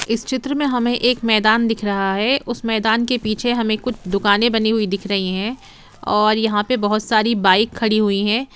इस चित्र में हमें एक मैदान दिख रहा है उस मैदान के पीछे हमें कुछ दुकानें बनी हुई दिख रही हैं और यहां पे बहुत सारी बाइक खड़ी हुई हैं।